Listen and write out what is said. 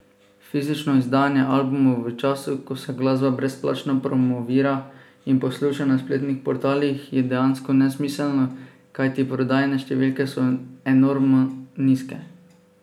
Fizično izdajanje albumov v času, ko se glasba brezplačno promovira in posluša na spletnih portalih, je dejansko nesmiselno, kajti prodajne številke so enormno nizke!